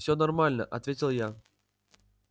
все нормально ответил я